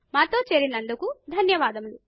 మాతో చేరినందుకు ధన్యవాదములు